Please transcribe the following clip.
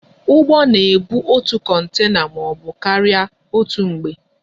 Ụgbọ na ebu otu kontena maọbụ karịa otú mgbe